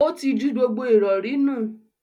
Ó tí ju gbogbo ìrọ̀rí nù.